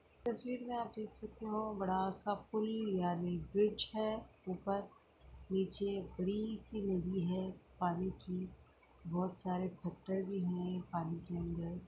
इस तस्वीर मे आप देख सकते हो बड़ा सा पुल यानि ब्रिज है ऊपर नीचे बड़ी सी नदी है पानी की बहुत सारे पत्थर भी है पानी के अंदर।